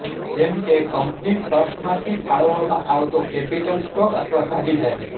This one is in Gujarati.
જેમ કે કંપની ટ્રસ્ટમાંથી ફાળવવામાં આવતો કેપિટલ સ્ટોક અથવા ભાગીદારી